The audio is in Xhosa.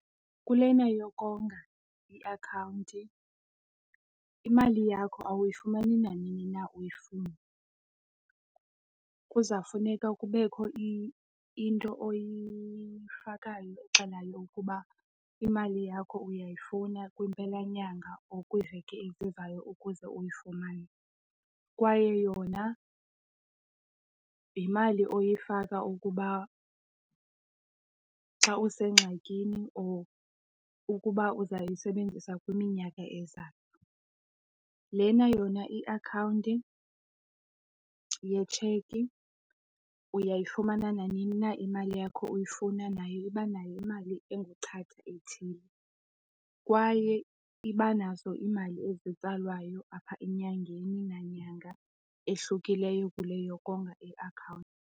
Kulena yokonga iakhawunti imali yakho awuyifumani nanini na uyifuna. Kuzawufuneka kubekho into oyifakayo exelayo ukuba imali yakho uyayifuna kwempela nyanga or kwiiveki ezizayo ukuze uyifumane. Kwaye yona yimali oyifaka ukuba xa usengxakini or ukuba uzawuyisebenzisa kwiminyaka ezayo. Lena yona iakhawunti yetsheki uyayifumana nanini na imali yakho uyifuna nayo iba nayo imali enguchatha ethile. Kwaye iba nazo iimali ezitsalwayo apha enyangeni nanyanga ehlukileyo kule yokonga iakhawunti.